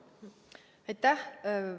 Aitäh!